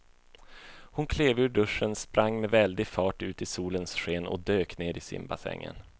Hon klev ur duschen, sprang med väldig fart ut i solens sken och dök ner i simbassängen.